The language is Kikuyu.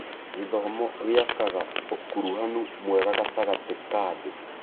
Gĩthomo gĩakaga ũkuruhanu mwega gatagatĩ ka andũ.